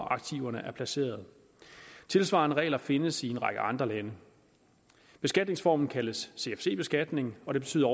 aktiverne er placeret tilsvarende regler findes i en række andre lande beskatningsformen kaldes cfc beskatning og det betyder